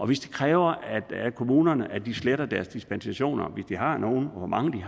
hvis det kræver af kommunerne at de sletter deres dispensationer hvis de har nogen hvor mange de